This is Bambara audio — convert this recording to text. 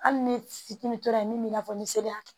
Hali ni fitiinin tora yen min bɛ i n'a fɔ ni seliya